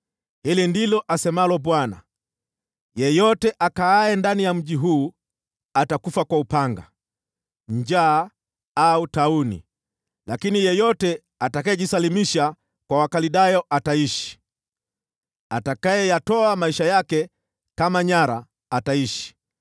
“Hili ndilo asemalo Bwana : ‘Yeyote akaaye ndani ya mji huu atakufa kwa upanga, njaa au tauni, lakini yeyote atakayejisalimisha kwa Wakaldayo ataishi. Atakayeyatoa maisha yake kama nyara, ataishi.’